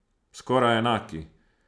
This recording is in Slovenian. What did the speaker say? Skoraj enaki.